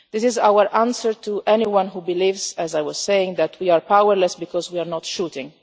This is our answer to anyone who believes as I was saying that we are powerless because we are not shooting.